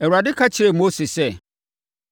Awurade ka kyerɛɛ Mose sɛ,